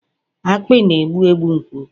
akpị na-egbu egbu nke ukwuu